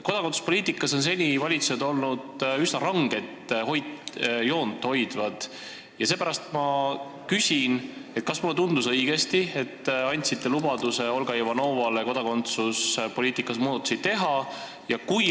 Kodakondsuspoliitikas on valitsused seni üsna ranget joont hoidnud ja seepärast ma küsin: kas mulle tundus õigesti, et te andsite Olga Ivanovale lubaduse kodakondsuspoliitikas muudatusi teha?